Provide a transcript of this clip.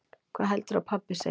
Hvað heldurðu að pabbi segi?